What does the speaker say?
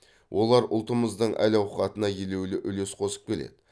олар ұлтымыздың әл ауқатына елеулі үлес қосып келеді